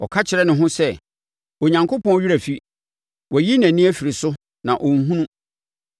Ɔka kyerɛ ne ho sɛ, “Onyankopɔn werɛ afi; wayi nʼani afiri so na ɔnhunu.”